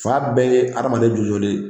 Fan bɛɛ ye hadamaden jɔlen jɔlen ye